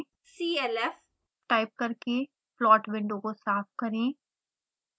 clf type करके plot window को साफ करें